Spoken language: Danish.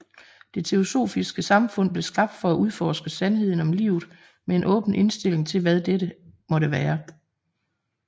Det Teosofiske Samfund blev skabt for at udforske sandheden om livet med en åben indtilling til hvad dette måtte være